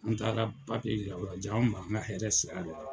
An taara yira o la ja an m'an ka hɛrɛ sira la.